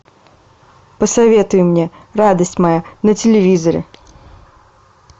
посоветуй мне радость моя на телевизоре